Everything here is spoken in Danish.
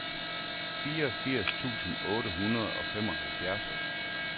fireogfirs tusind otte hundrede og femoghalvfjerds